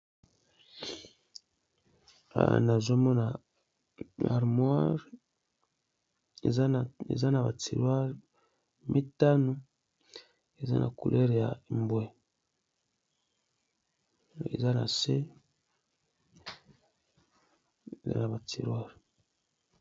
Awa nazomona harmoire Eza naba tiroire mitano eza na coulere ya mbwe Eza nase na batirwire.